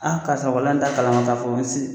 karisa walahi n t'a kalama ka fɔ n